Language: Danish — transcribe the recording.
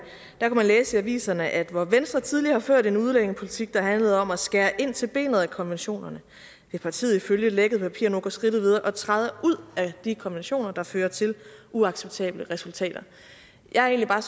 man læse i aviserne at hvor venstre tidligere har ført en udlændingepolitik der handlede om at skære ind til benet af konventionerne vil partiet ifølge lækkede papirer gå skridtet videre og træde ud af de konventioner der fører til uacceptable resultater jeg er